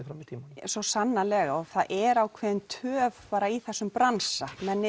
fram í tímann já svo sannarlega það er töf í þessum bransa menn